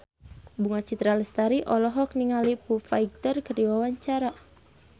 Bunga Citra Lestari olohok ningali Foo Fighter keur diwawancara